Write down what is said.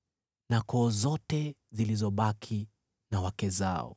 na koo zote zilizobaki na wake zao.